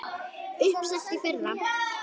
Uppselt í fyrra!